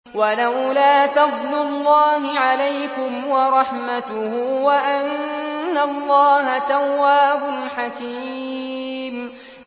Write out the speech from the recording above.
وَلَوْلَا فَضْلُ اللَّهِ عَلَيْكُمْ وَرَحْمَتُهُ وَأَنَّ اللَّهَ تَوَّابٌ حَكِيمٌ